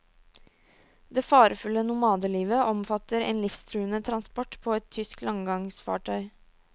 Det farefulle nomadelivet omfatter en livstruende transport på et tysk landgangsfartøy.